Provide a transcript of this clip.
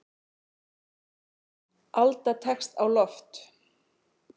Alda tekst á loft.